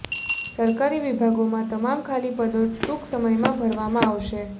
સરકારી વિભાદોમાં તમામ ખાલી પદો ટૂંક સમયમાં ભરવામાં આવશે